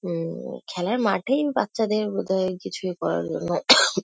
উ-ম খেলার মাঠেই বাচ্চাদের বোধহয় কিছুই করার জন্য --